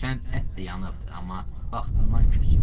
Hərçənd ət də yanıbdır, amma vaxtından küs.